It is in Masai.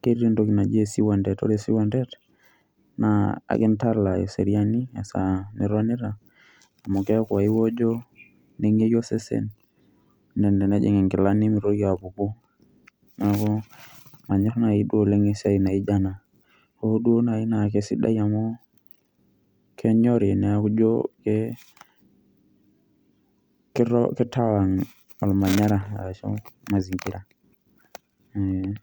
keeta entoki naji esiwuantet, ore esiwuantet naa akintala eseriani esaa nitonita amu keeku aiwojo neng'eyu osesen naa enejing' inkilani nemitoki apuku. Neeku manyor nai duo oleng' esiai naijo ena hoo duo naake sidai amu kenyori neeku ijo ke keto kitawang' ormanyara ashu mazingira ee.